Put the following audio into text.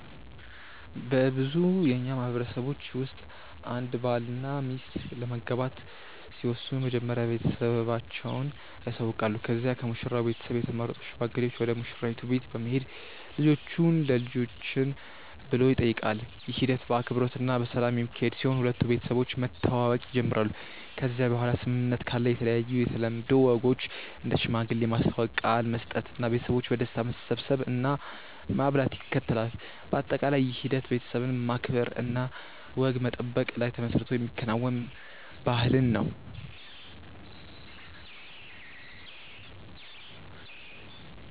በብዙ የእኛ ማህበረሰቦች ውስጥ አንድ ባልና ሚስት ለመጋባት ሲወስኑ መጀመሪያ ቤተሰቦቻቸውን ያሳውቃሉ ከዚያ ከሙሽራው ቤተሰብ የተመረጡ ሽማግሌዎች ወደ ሙሽራይቱ ቤት በመሄድ ልጆቹን ለልጆችን ብሎ ይጠይቃሉ። ይህ ሂደት በአክብሮት እና በሰላም የሚካሄድ ሲሆን ሁለቱ ቤተሰቦች መተዋወቅ ይጀምራሉ ከዚያ በኋላ ስምምነት ካለ የተለያዩ የተለምዶ ወጎች እንደ ሽማግሌ ማስተዋወቅ፣ ቃል መስጠት እና ቤተሰቦች በደስታ መሰብሰብ እና ማብላት ይከተላል። በአጠቃላይ ይህ ሂደት ቤተሰብን ማክበር እና ወግ መጠበቅ ላይ ተመስርቶ የሚከናወን ባህልን ነው።